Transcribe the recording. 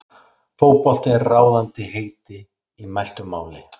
Fótbolti er ráðandi heiti í mæltu máli.